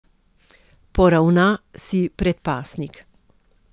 Poravna si predpasnik.